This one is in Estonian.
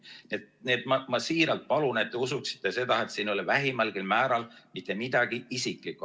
Nii et ma siiralt palun, et te usuksite seda, et siin ei ole vähimalgi määral mitte midagi isiklikku.